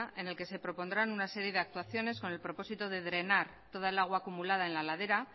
en el que se propondrán una serie de actuaciones con el propósito de drenar toda el agua acumulada en la ladera